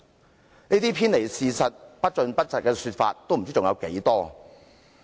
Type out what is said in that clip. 像這些偏離事實、不盡不實的說法不知還有多少？